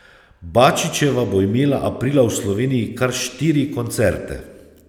Bačićeva bo imela aprila v Sloveniji kar štiri koncerte.